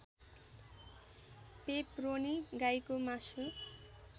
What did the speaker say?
pepperoni गाईको मासु